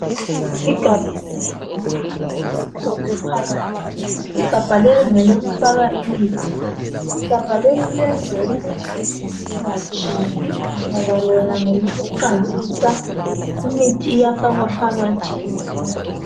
Igabha eliyibhulu elimhlophe phakathi, igamba leli ngelokufaka imithi, igamba leli ngelokuthi kungatshise ngoba lona ngelokuqandisa, umithi iyafakwa phakathi.